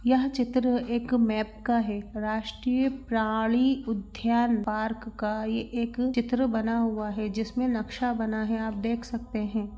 यहाँ चित्र एक मैप का है राष्ट्रीय प्राणी उद्यान पार्क का ये एक चित्र बना हुआ है जिसमें नक्शा बना है आप देख सकते हैं।